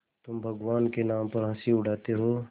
तुम भगवान के नाम पर हँसी उड़ाते हो